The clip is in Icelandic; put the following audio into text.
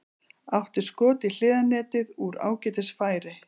Átti skot í hliðarnetið úr ágætis færi.